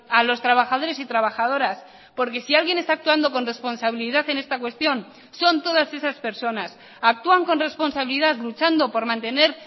a los trabajadores y trabajadoras porque si alguien está actuando con responsabilidad en esta cuestión son todas esas personas actúan con responsabilidad luchando por mantener